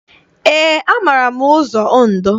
Eé, amaara m ụzọ Ondo.